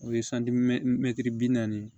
O ye bi naani